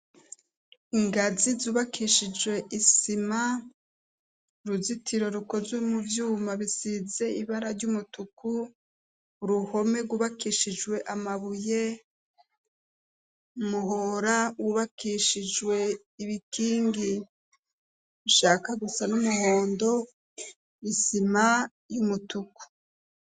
Ingazi zubakishijwe isima uruzitiro rukozwe mu vyuma bisize ibara ry'umutuku uruhome gubakishijwe amabuye muhora wubakishijwe ibikingi nshaka gusa n'umuhondo isima y'umutuku.